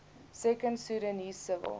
second sudanese civil